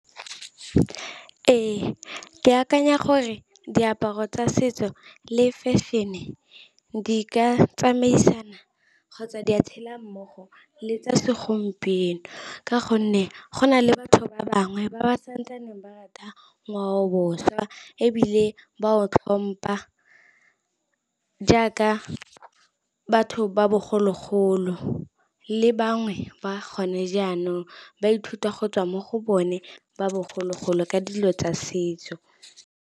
Ee, ke akanya gore diaparo tsa setso le fashion-e di ka tsamaisana kgotsa di a tshela mmogo le tsa segompieno. Ka gonne go na le batho ba bangwe ba ba santsaneng ba rata ngwaobošwa. Ebile ba o tlhompa jaaka batho ba bogologolo le bangwe ba gone jaanong, ba ithuta go tswa mo go bone ba bogologolo ka dilo tsa setso.